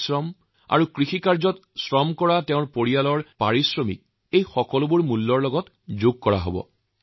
কেৱল ইমানেই নহয় কৃষকে নিজে যি পৰিশ্ৰম কৰে যদি তাৰ পৰিয়ালৰ কোনো কৃষিকাৰ্যত শ্ৰম দান কৰে তাৰ মূল্যও উৎপাদন ব্যয় অন্তৰ্ভূক্ত কৰা হব